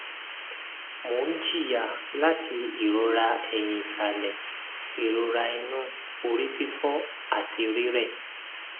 mo n jiya lati irora eyin isale irora inu orififo ati rirẹ